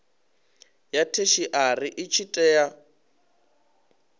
ya theshiari i tshi tea